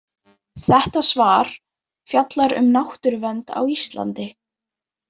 Þetta svar fjallar um náttúruvernd á Íslandi.